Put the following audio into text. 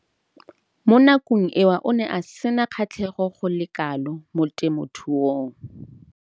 Mo nakong eo o ne a sena kgatlhego go le kalo mo temothuong.